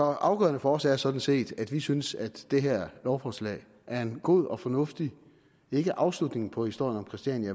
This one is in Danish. afgørende for os er sådan set at vi synes at det her lovforslag er en god og fornuftig afslutning ikke på historien om christiania